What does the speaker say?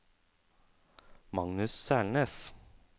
Magnus Selnes